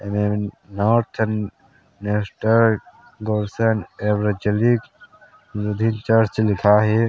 एमे north western गोससनगर एवं जेलिकल लुथेरॉन चर्च लिखाए हे।